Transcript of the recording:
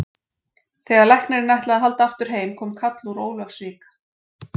Þegar læknirinn ætlaði að halda aftur heim kom kall úr Ólafsvík.